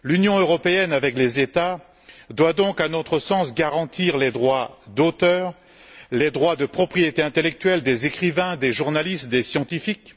L'Union européenne, avec les États, doit donc, à notre sens, garantir les droits d'auteur, les droits de propriété intellectuelle des écrivains, des journalistes, des scientifiques.